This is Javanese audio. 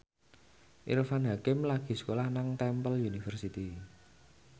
Irfan Hakim lagi sekolah nang Temple University